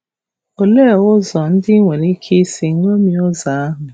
Olee ụzọ ndị i nwere ike isi ṅomie ụzọ ahụ?